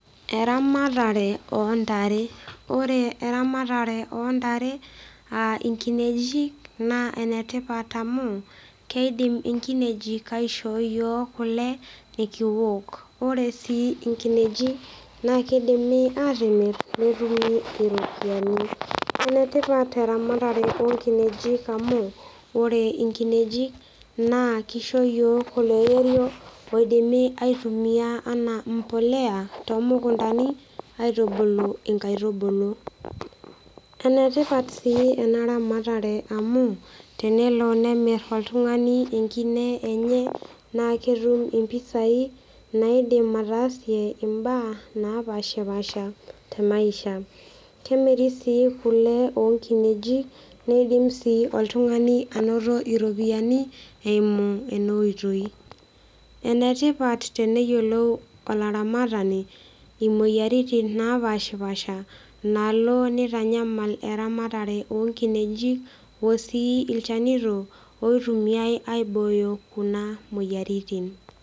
Eramatare ontare ore eramatare ontare aa inkinejik naa enetipat amu keidim inkinejik aishoo iyiok kule nikiwok ore sii inkinejik naa kidimi atimirr netumi iropiyiani enetipat eramatare onkinejik amu ore inkinejik naa kisho iyiok oloirerio oidimi aitumia anaa mpoleya tomukuntani aitubulu inkaitubulu enetipat sii ena ramatare amu tenelo nemirr oltung'ani enkine enye naa ketum impisai naidim ataasie imbaa napashipasha te maisha kemiri sii kule onkinejik neidim sii oltung'ani anoto iropiyiani eimu ena oitoi enetipat teneyiolou olaramatani imoyiaritin napashipasha naalo nitanyamal eramatare onkinejik osii ilchanito oitumiae aibooyo kuna moyiaritin.